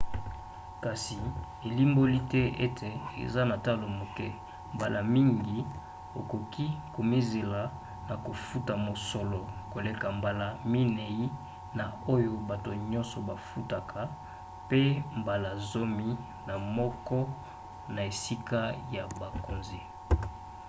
kasi elimboli te ete eza na talo moke; mbala mingi okoki komizela na kofuta mosolo koleka mbala minei na oyo bato nyonso bafutaka pe mbala zomi na moko na esika ya bakonzi!